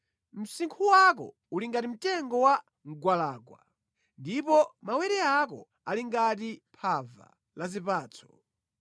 Msinkhu wako uli ngati mtengo wa mgwalangwa, ndipo mawere ako ali ngati phava la zipatso.